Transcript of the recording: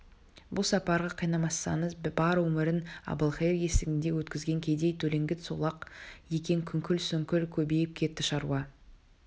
бұл сапарға қинамасаңыз бар өмірін әбілқайыр есігінде өткізген кедей төлеңгіт сол-ақ екен күңкіл-сүңкіл көбейіп кетті шаруа